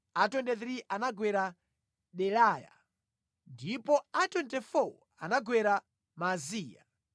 a 23 anagwera Delaya, ndipo a 24 anagwera Maaziya.